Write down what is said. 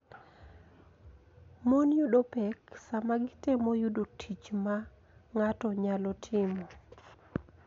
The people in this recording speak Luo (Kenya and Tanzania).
Mon yudo pek sama gitemo yudo tich ma ng�ato nyalo timo,